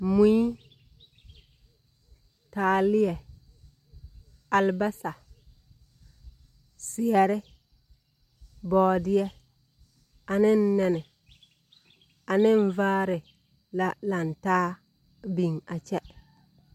Mui, taaleɛ, alebasɛ, zeɛre, bɔɔdeɛ ane nɛne ane vaare la lantaa a biŋ a kyɛ.